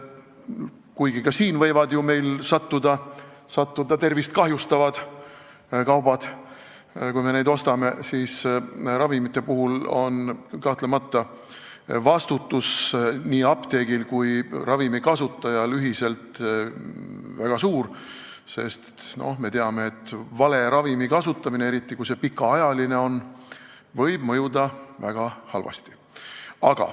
Kuigi ka siin võivad meie ostude hulka sattuda tervist kahjustavad kaubad, on ravimite puhul vastutus nii apteegil kui ka ostjal kahtlemata väga suur, sest me teame, et vale ravimi kasutamine, eriti kui see on pikaajaline, võib mõjuda väga halvasti.